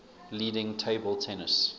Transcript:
leading table tennis